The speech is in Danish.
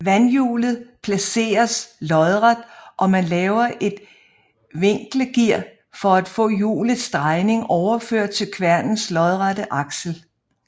Vandhjulet placeres lodret og man laver et viklegear for at få hjulets drejning overført til kværnens lodrette aksel